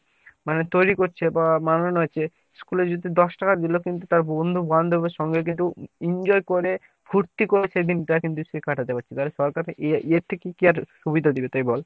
মানে তৈরি করছে বা বানানো আছে তো এই যে দশ টাকা দিলো কিন্তু তার বন্ধু বান্ধবের সঙ্গে কিন্তু enjoy করে ফুর্ত্তি করে সেদিন টা কিন্তু সে কাটাতে পারছে এর থেকে কী আর সুবিধা দিবে তুই বল?